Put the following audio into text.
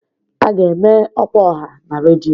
A ga-eme ọkwa ọha na redio